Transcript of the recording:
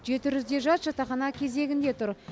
жеті жүздей жас жатақхана кезегінде тұр